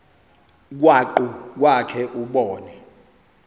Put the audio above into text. krwaqu kwakhe ubone